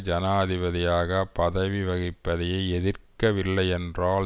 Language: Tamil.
ஜனாதிபதியாக பதவி வகிப்பதை எதிர்க்கவில்லையென்றால்